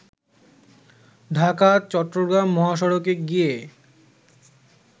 ঢাকা- চট্রগ্রাম মহাসড়কে গিয়ে